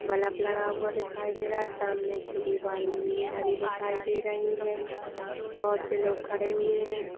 Bulb लगा हुआ दिखाई दे रहा है सामने की दीवार नीली हरी दिखाई दे रही है बहुत से लोग खड़े हुए हैं।